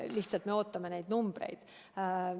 Lihtsalt me ootame neid numbreid.